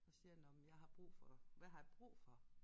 Og siger nåh men jeg har brug for hvad har jeg brug for